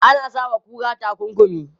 Ana sa wa kura takunkumi.